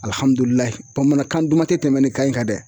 Alihamudulila bamanankan duman tɛ tɛmɛ nin kan in kan dɛ